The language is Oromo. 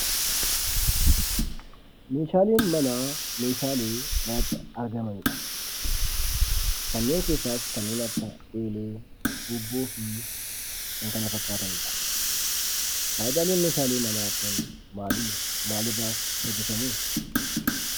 Meeshaaleen manaa meeshaalee manatti argamani dha. Kanneen keessaas Kanneen akka eelee, tuubboo fi kan kana fakkaatanii dha. Faayidaaleen meeshaalee manaa kun maali? Maalirraas hojjetamu?